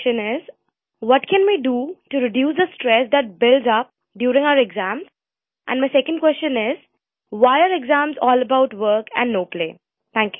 My first question is, what can we do to reduce the stress that builds up during our exams and my second question is, why are exams all about work and no play